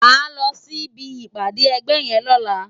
Má lò si bi ipàdé ègbè yèn lòlá